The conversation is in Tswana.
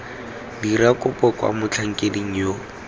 dira kopo kwa motlhankeding yo